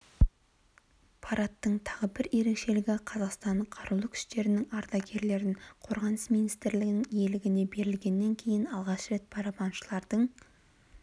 парадтың тағы бір ерекшелігі қазақстан қарулы күштерінің ардагерлерін қорғаныс министрлігінің иелігіне берілгеннен кейін алғаш рет барабаншылардың